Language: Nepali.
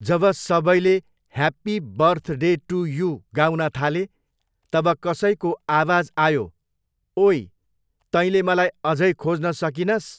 जब सबैले happy birthday to you गाउन थाले, तब कसैको आवाज आयो, ओई, तैँले मलाईअझै खोज्न सकिनस्?